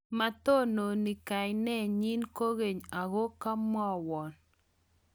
matononi kanenyin kokeny aku kamwowon